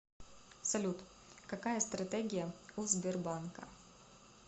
салют какая стратегия у сбербанка